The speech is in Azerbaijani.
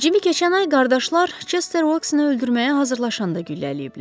Cimi keçən ay qardaşlar Chester Voksini öldürməyə hazırlaşanda güllələyiblər.